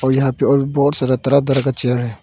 यहां पे और बहुत सारा तरह तरह का चेयर है।